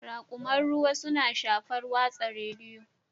Raƙuman ruwa suna shafar watsa rediyo